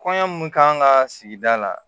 Kɔɲɔ mun kan ka sigi la